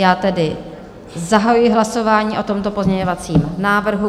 Já tedy zahajuji hlasování o tomto pozměňovacím návrhu.